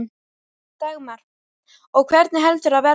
Dagmar: Og hvenær heldurðu að það verði?